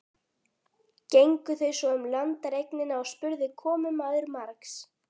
Gengu þau svo um landareignina og spurði komumaður margs.